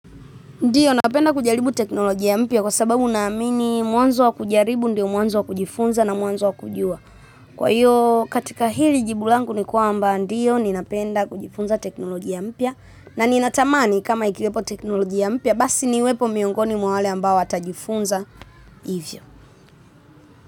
Ndiyo, napenda kujaribu teknolojia mpya kwa sababu naamini mwanzo wa kujaribu ndio mwanzo wa kujifunza na mwanzo wa kujua. Kwa hiyo katika hili jibu langu ni kwamba ndiyo ninapenda kujifunza teknolojia mpya na ninatamani kama ikiwepo teknolojia basi niwepo miongoni mwa wale ambao watajifunza hivyo.